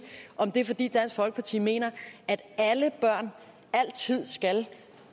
om det er fordi dansk folkeparti mener at alle børn altid skal